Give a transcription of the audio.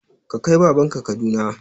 Ka kai baban ka Kaduna!